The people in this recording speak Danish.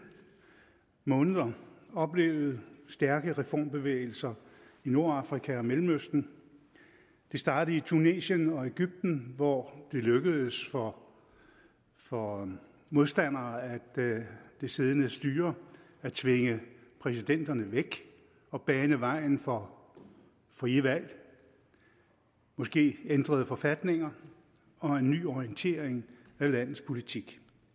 måneder oplevet stærke reformbevægelser i nordafrika og mellemøsten det startede i tunesien og egypten hvor det lykkedes for for modstandere af det siddende styre at tvinge præsidenterne væk og bane vejen for frie valg måske ændrede forfatninger og en ny orientering af landets politik